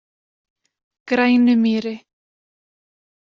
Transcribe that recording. Grænumýri